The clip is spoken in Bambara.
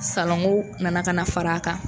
Salanko nana ka na fara a kan